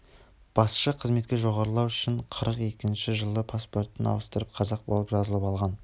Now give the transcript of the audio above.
басшы қызметке жоғарылау үшін қырық екінші жылы паспортын ауыстырып қазақ болып жазылып алған